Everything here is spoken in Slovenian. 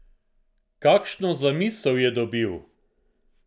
Kakšno zamisel je dobil?